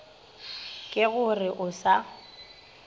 ke go re o sa